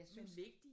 Jeg synes